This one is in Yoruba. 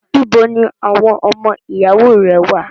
Ibo ni àwọn ọmọ ìyàwó rẹ wà?